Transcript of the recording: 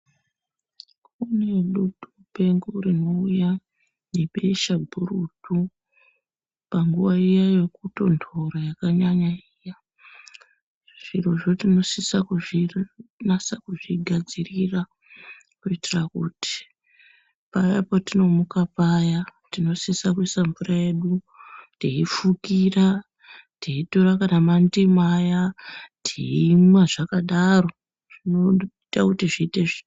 Kunedutu mupengo rinouya nebesha gurutu panguva yrkutonhora yakanyanya iya zvirozvo tinosisa kuzvigadzirira kuitira kuti paya patinomuka paya tinosisa kuisa mvura yedu teifukira teitora kana mandimu aya zvinosisa kuti zvinge zvakanaka